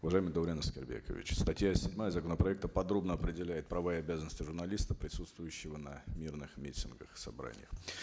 уважаемый даурен аскербекович статья седьмая законопроекта подробно определяет права и обязанности журналиста присутствующего на мирных митингах собраниях